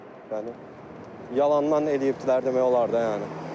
Yalandan eləyibdilər demək olar da yəni.